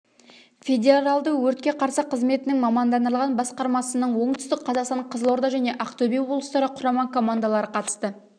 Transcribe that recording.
федералды өртке қарсы қызметінің мамандандырылған басқармасының оңтүстік қазақстан қызылорда және ақтөбе облыстары құрама командалары қатысты